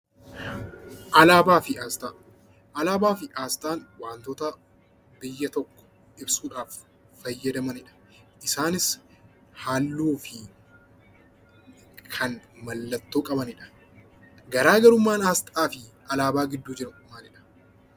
Alaabaa fi aasxaa: Alaabaa fi aasxaan waantota biyya tokko ibsuudhaaf fayyadamanidha. Isaanis haalluu fi kan mallattoo qabanidha. Garaa garummaan aasxaa fi alaabaa gidduu jiru maalidha?